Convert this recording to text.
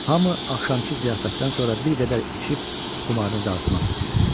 Hamı axşamkı ziyafətdən sonra bir qədər içib xumarını dağıtmaq istəyirdi.